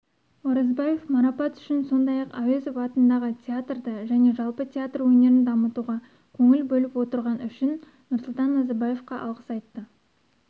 оразбаев марапат үшін сондай-ақ әуезов атындағы театрды және жалпы театр өнерін дамытуға көңіл бөліп отырғаны үшін нұрсұлтан назарбаевқа алғыс айтты